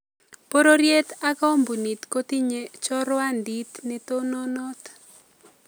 Bororyet ak koombuniit kotinye chorwandiit netononot